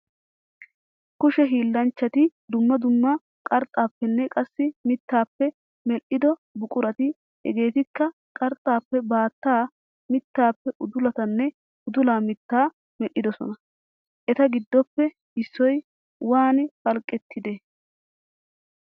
Kushe hiillanchchati dumma dumma qarxxaappenne qassi mittaappe medhdhido buqurati hegeetikka qarxaappe baattaa, mittaappe udulatanne udula mittaa medhidosona. Eta giddoppe issoy waani phalqqettide?